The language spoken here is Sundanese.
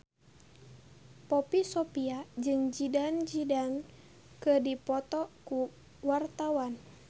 Poppy Sovia jeung Zidane Zidane keur dipoto ku wartawan